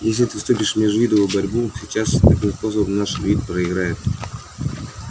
если ты вступишь в межвидовую борьбу сейчас таким способом наш вид проиграет